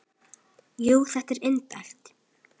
Jú, þetta er indælt